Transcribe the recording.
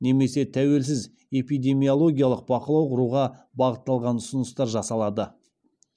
немесе тәуелсіз эпидемиологиялық бақылау құруға бағытталған ұсыныстар жасалады